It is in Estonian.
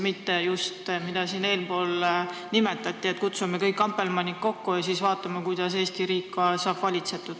Mitte nii, nagu siin eespool nimetati, et kutsume kõik ampelmannid kokku ja siis vaatame, kuidas Eesti riik saab valitsetud.